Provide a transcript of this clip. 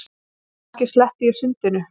Kannski ég sleppi sundinu.